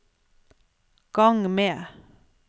gang med